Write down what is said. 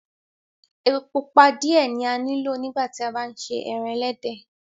Ẹpọ̀ pupa diẹ̀ ni a ní lọ̀ nígbà tí à bá n ṣè ẹran ẹlẹdẹ.